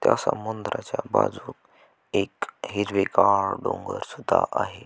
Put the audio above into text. त्या समुद्रा च्या बाजू एक हिरवी गार डोंगर सुद्धा आहे.